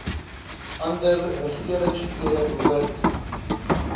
ander regeringsfere behoort